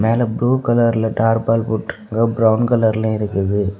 மேலெ blue கலர்ல தார்பால் போட்டிருக்கு பிரவுன் கலர்லை இருக்குது.